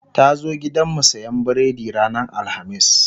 ta zo gidanmu siyan biredi ranar alhamis